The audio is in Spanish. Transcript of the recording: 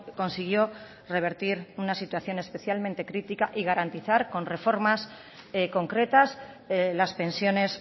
consiguió revertir una situación especialmente crítica y garantizar con reformar concretas las pensiones